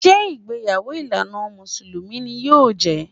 Ṣé ìgbéyàwó ìlànà Mùsùlùmí ni yóò jẹ́?